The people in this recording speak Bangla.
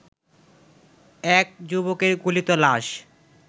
এক যুবকের গলিত লাশ